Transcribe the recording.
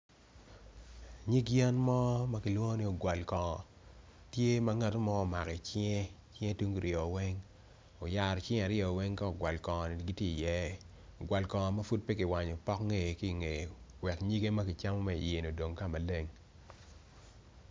Nyig yen mo ma kilwongo ni ogwalkongo tye kati mo omako i cinge tungu oryo weny oyaro cinge aryo weng ka ogwal kongo-ni giti iye, ogwalkongo ma pud pe kiwanyo pok ngeye ki i ngeye wek nyige ma kicamo ki iye-ni odong ka maneng